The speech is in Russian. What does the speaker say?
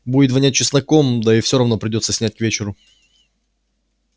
будет вонять чесноком да и все равно придётся снять к вечеру